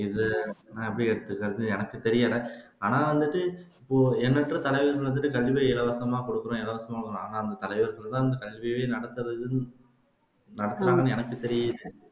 இதை நான் எப்படி எடுத்துக்கிரதுன்னு எனக்கு தெரியலை ஆனா வந்துட்டு எண்ணற்ற தலைவர்கள் வந்துட்டு கண்டிப்பா இலவசமா குடுக்குறோம் இலவசம் வாங்காம தலைவர் நடத்துறது நடக்காதுன்னு எனக்கு தெரியுது